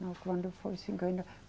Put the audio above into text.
Não, quando foi cinquenta.